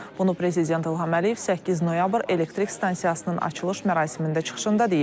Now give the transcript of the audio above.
Bunu Prezident İlham Əliyev 8 noyabr elektrik stansiyasının açılış mərasimində çıxışında deyib.